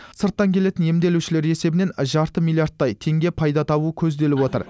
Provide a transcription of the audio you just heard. сырттан келетін емделушілер есебінен жарты миллиардтай теңге пайда табу көзделіп отыр